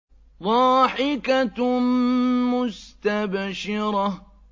ضَاحِكَةٌ مُّسْتَبْشِرَةٌ